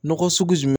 Nɔgɔ sugu jumɛn